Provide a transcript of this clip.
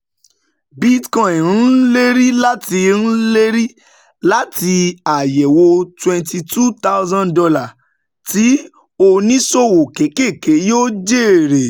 Bitcoin ń lérí láti ń lérí láti àyẹ̀wò $22,000, tí oníṣòwò kéékèèké yóò jèrè.